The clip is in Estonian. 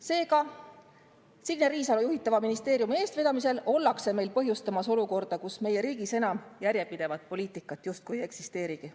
Seega, Signe Riisalo juhitava ministeeriumi eestvedamisel ollakse meil põhjustamas olukorda, kus meie riigis enam järjepidevat poliitikat justkui ei eksisteerigi.